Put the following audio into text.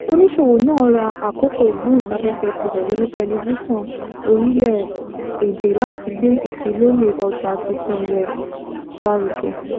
oníṣòwò náà ra àkókò ìgbóhùnsáfẹ́fẹ́ tirẹ̀ lórí tẹlifíṣọ̀n orílẹ̀-èdè láti gbé ìfilọ́lẹ̀ ọjà tuntun rẹ̀ lárugẹ